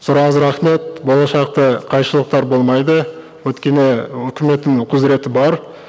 сұрағыңызға рахмет болашақта қайшылықтар болмайды өйткені үкіметтің құзыреті бар